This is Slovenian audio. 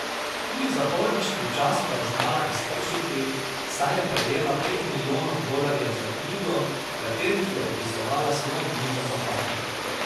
Tudi zaporniški čas pa je znala iztržiti, saj je prejela pet milijonov dolarjev za knjigo, v katerih je opisovala svoje dni za zapahi.